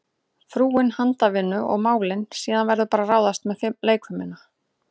Frúin handavinnu og málin, síðan verður bara að ráðast með leikfimina.